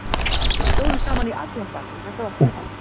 Við stóðum saman í allan dag og þetta var fínt.